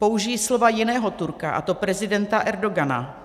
Použiji slova jiného Turka, a to prezidenta Erdogana.